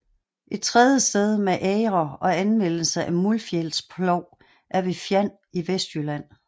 Et tredje sted med agre og anvendelse af muldfjælsplov er ved Fjand i Vestjylland